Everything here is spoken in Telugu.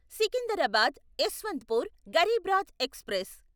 సికిందరాబాద్ యశ్వంత్పూర్ గరీబ్ రాత్ ఎక్స్ప్రెస్